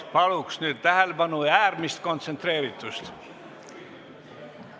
Paluks nüüd tähelepanu ja äärmist kontsentreeritust!